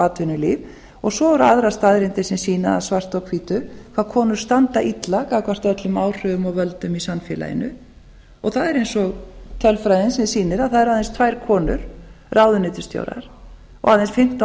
atvinnulíf og svo eru aðrar staðreyndir sem sýna það svart á hvítu hvað konur standa illa gagnvart öllum áhrifum og völdum í samfélaginu það er eins og tölfræðin sem sýnir að það eru aðeins tvær konur ráðuneytisstjórar og aðeins fimmtán